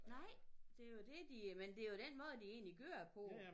Nej det jo det de men det jo den måde de egentlig kører på